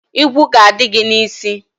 Igwu ga-adị gị n' isi.